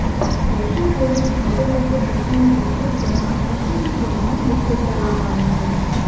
દક્ષિણ કોરિયાની ઓટોમેકર કંપનીની વેબસાઈટ પર આ એસયુવી કોનાને લિસ્ટેડ કરવામાં આવી છે